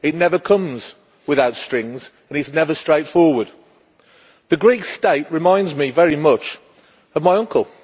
Help never comes without strings and it is never straightforward. The Greek state reminds me very much of my uncle.